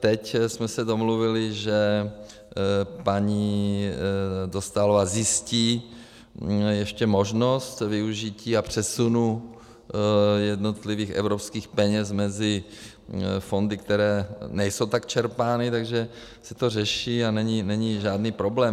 Teď jsme se domluvili, že paní Dostálová zjistí ještě možnost využití a přesunu jednotlivých evropských peněz mezi fondy, které nejsou tak čerpány, takže se to řeší a není žádný problém.